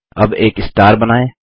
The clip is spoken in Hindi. अब एक स्टार बनाएँ